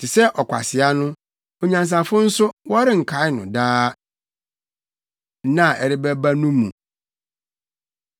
Te sɛ ɔkwasea no, onyansafo nso, wɔrenkae no daa; nna a ɛreba no mu, wɔrenkae wɔn baanu no. Te sɛ ɔkwasea no, onyansafo nso bewu! Adwumayɛ Nka Hwee